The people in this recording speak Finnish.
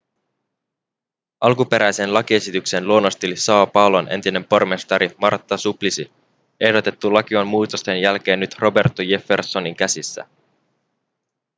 alkuperäisen lakiesityksen luonnosteli são paulon entinen pormestari marta suplicy. ehdotettu laki on muutosten jälkeen nyt roberto jeffersonin käsissä